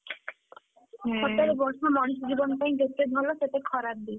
ସତରେ ବର୍ଷା ମଣିଷ ଜୀବନ ପାଇଁ ଯେତେ ଭଲ ସେତେ ଖରାପ ବି।